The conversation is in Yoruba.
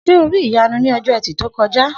S̩e o rí Ìyanu ní o̩jó̩ E̩tì tó ko̩já?